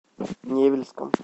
невельском